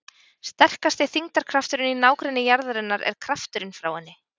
Sterkasti þyngdarkrafturinn í nágrenni jarðarinnar er krafturinn frá henni.